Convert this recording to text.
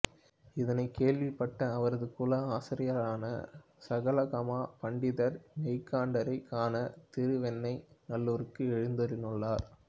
இதனை கேள்விப்பட்ட அவரது குல ஆசாரியரான சகலாகம பண்டிதர் மெய்கண்டாரைக் காண திரு வெண்ணை நல்லூருக்கு எழுந்தருளினார்